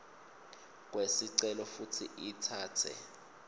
kwesicelo futsi itsatse